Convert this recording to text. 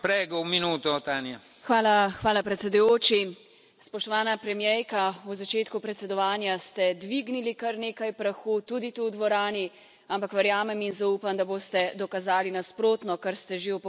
Gospod predsedujoči, spoštovana premierka, v začetku predsedovanja ste dvignili kar nekaj prahu, tudi tu v dvorani, ampak verjamem in zaupam, da boste dokazali nasprotno, kar ste že v pogovorih z nami.